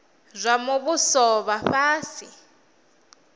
zwa muvhuso zwa vha fhasi